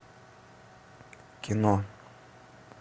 кино